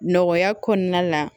Nɔgɔya kɔnɔna la